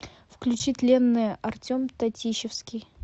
включи тленное артем татищевский